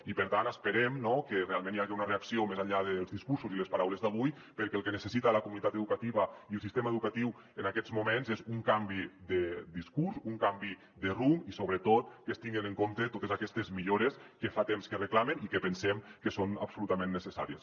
i per tant esperem no que realment hi hagi una reacció més enllà dels discursos i les paraules d’avui perquè el que necessiten la comunitat educativa i el sistema educatiu en aquests moments és un canvi de discurs un canvi de rumb i sobretot que es tinguen en compte totes aquestes millores que fa temps que reclamen i que pensem que són absolutament necessàries